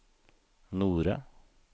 Nore